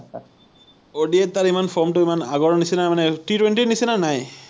ODI তাৰ ইমান form টো ইমান আগৰ নিচিনা মানে T-twenty ৰ নিচিনা নাই৷